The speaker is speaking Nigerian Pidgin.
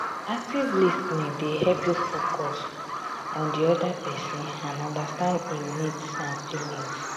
active lis ten ing dey help you focus you focus on di oda pesin and understand im needs and feelings.